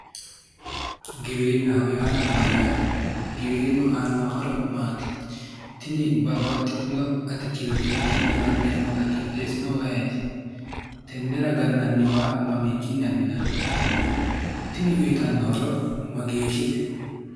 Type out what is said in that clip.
Giwirinnaho yaa mayyaate? Gibirinnu aanno horo maati? tini babbaxitino atikkilte giddo la'neemmota qixxeessinohu ayeeti? tennera gannanni waa mamiinni abbinanni? Tini uuyitanno horo mageeshshite?